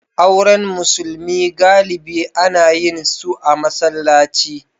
Auren musulmi galibi ana yin su a masallaci.